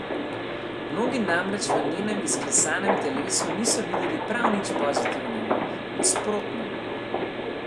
Mnogi namreč v njenem izklesanem telesu niso videli prav nič pozitivnega, nasprotno.